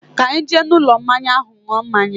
Ka anyi jee n'ulo mmanya ahu nuo mmanya